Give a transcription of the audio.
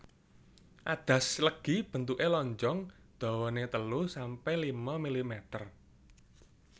Adas legi bentuke lonjong dawane telu sampe lima milimeter